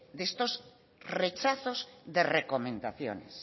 de estos rechazos de recomendaciones